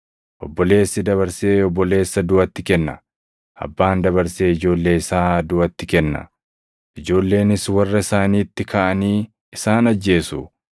“Obboleessi dabarsee obboleessa duʼatti kenna; abbaan dabarsee ijoollee isaa duʼatti kenna. Ijoolleenis warra isaaniitti kaʼanii isaan ajjeesu.